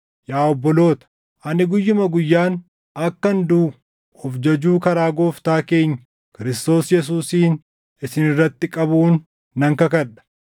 Yaa obboloota, ani guyyuma guyyaan akkan duʼu of jajuu karaa Gooftaa keenya Kiristoos Yesuusiin isin irratti qabuun nan kakadha.